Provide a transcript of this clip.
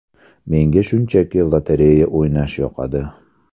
Menga shunchaki lotereya o‘ynash yoqadi.